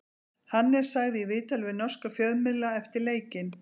Hannes sagði í viðtali við norska fjölmiðla eftir leikinn: